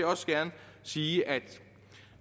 også gerne sige at